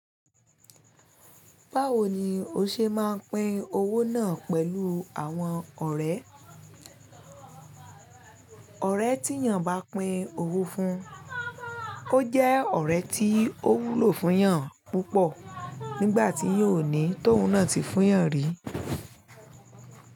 Báwo ni o ṣe máa pín owó náà pẹ̀lú àwọn ọ̀rẹ́? Ọ̀rẹ́ tí èèyàn bá pín owó fún, ó jẹ́ ọ̀rẹ́ tí ó wúlò fún èèyàn púpọ̀ nígbà tí yiò ní tó un náà ti fún èèyàn fun yan rí.